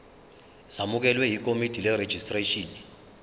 zamukelwe yikomidi lerejistreshini